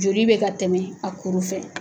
Joli bɛ ka tɛmɛ a kuru fɛ